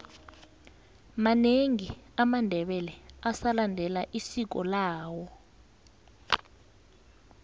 manengi amandebele asalendela isiko lawo